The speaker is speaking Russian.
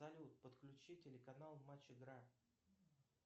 салют подключи телеканал матч игра